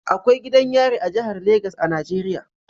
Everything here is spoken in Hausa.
Akwai gidan yari a jihar Legas a Najeriya